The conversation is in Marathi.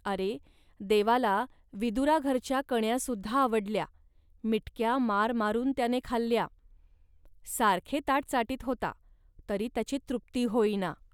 अरे, देवाला विदुराघरच्या कण्यासुद्धा आवडल्या, मिटक्या मारमारून त्याने खाल्ल्या. सारखे ताट चाटीत होता, तरी त्याची तृप्ती होईना